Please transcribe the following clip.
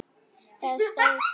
Það stóð stutt.